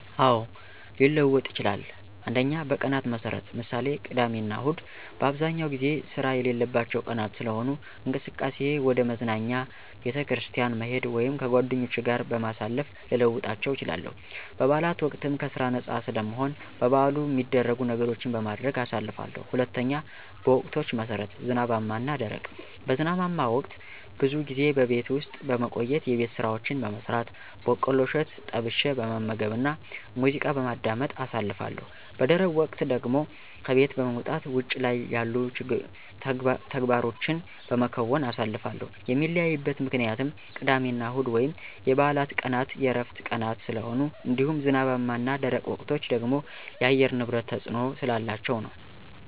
አዎ፣ ሊለወጥ ይችላል። 1. በቀናት መሠረት ( ምሳሌ፦ ቅዳሜና እሁድ) በአብዛኛው ጊዜ ስራ የሌለባቸው ቀናት ስለሆኑ፣ እንቅስቃሴየ ወደ መዝናኛ፣ ቤተክርስቲያን መሄድ ወይም ከጓደኞቼ ጋር ጊዜ በማሳለፍ ልለውጣቸው እችላለሁ። በበዓላት ወቅትም ከስራ ነፃ ስለምሆን በበዓሉ ሚደረጉ ነገሮችን በማድረግ አሳልፋለሁ። 2. በወቅቶች መሠረት ( ዝናባማ እና ደረቅ ) በዝናባማ ወቅት ብዙ ጊዜ በቤት ውስጥ በመቆየት የቤት ስራዎችን በመስራት፣ በቆሎ እሸት ጠብሸ በመመገብና ሙዚቃ በማዳመጥ አሳልፋለሁ። _ በደረቅ ወቅት ደግሞ ከቤት በመውጣት ውጭ ላይ ያሉ ተግባሮቸን በመከወን አሳልፋለሁ። ሚለያይበት ምክንያትም ቅዳሜና እሁድ ወይም የበዓላት ቀናት የዕረፍት ቀናት ስለሆኑ እንዲሁም ዝናባማ እና ደረቅ ወቅቶች ደግሞ የአየር ንብረት ተፅዕኖ ስላላቸው ነዉ።